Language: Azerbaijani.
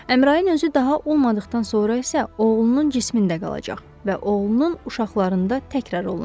Əmrayin özü daha o olmadıqdan sonra isə oğlunun cismində qalacaq və oğlunun uşaqlarında təkrar olunacaq.